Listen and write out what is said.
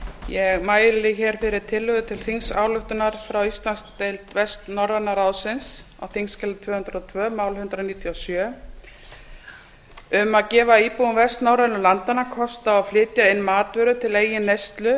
ég mæli hér fyrir tillögu til þingsályktunar frá íslandsdeild vestnorræna ráðsins á þingskjali tvö hundruð og tvö mál hundrað níutíu og sjö um að gefa íbúum vestnorrænu landanna kost á að flytja inn matvörur til eigin neyslu